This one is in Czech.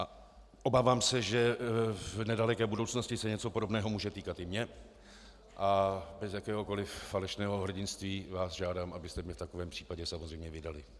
A obávám se, že v nedaleké budoucnosti se něco podobného může týkat i mě, a bez jakéhokoliv falešného hrdinství vás žádám, abyste mě v takovém případě samozřejmě vydali.